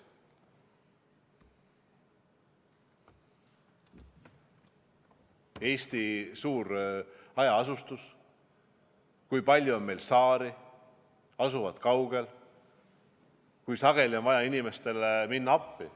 Eestis on suur hajaasustus, meil on ka palju saari, need asuvad kaugel, aga sageli on vaja inimestele appi minna.